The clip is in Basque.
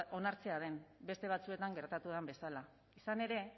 onartzea den beste batzuetan gertatu den bezala izan ere